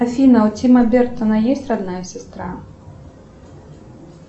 афина у тима бертона есть родная сестра